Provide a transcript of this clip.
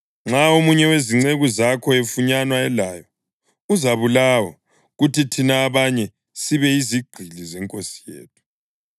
Nxa omunye wezinceku zakho efunyanwa elayo, uzabulawa; kuthi thina abanye sibe yizigqili zenkosi yethu.”